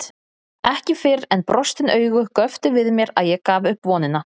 Ekki fyrr en brostin augu göptu við mér að ég gaf upp vonina.